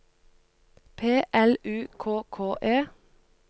P L U K K E